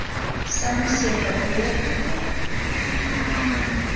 Sem sé þá Urðarköttur?